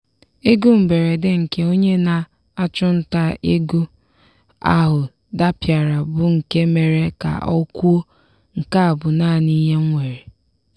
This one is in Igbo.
ego mberede nke onye na-achụnta ego ahụ dapịara bụ nke mere ka o kwuo " nke a bụ naanị ihe m nwere".